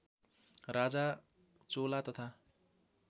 राजा चोला तथा